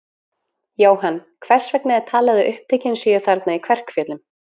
Jóhann, hvers vegna er talið að upptökin séu þarna í Kverkfjöllum?